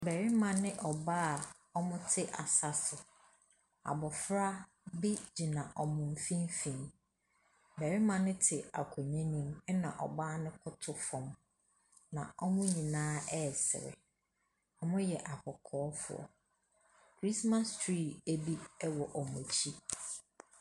Barima ne ɔbaa a wɔte asa so. Abɔfra bi gyina wɔn mfimfini. Barima no te akonnwa no mu ɛna ɔbaa no koto fam. Na wɔn nyinaa resere. Wɔyɛ akɔkɔɔfoɔ. Christmas tree bi wɔ wɔn akyi.